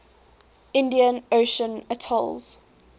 indian ocean atolls